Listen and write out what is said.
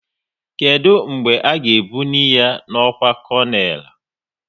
Kedụ mgbe a ga ebnuyi ha n'ọkwá konel?